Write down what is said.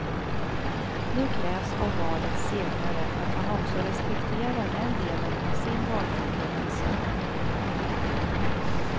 Nu krävs av valets segrare att han också respekterar den delen av sin valförkunnelse.